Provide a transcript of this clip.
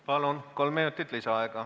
Palun, kolm minutit lisaaega!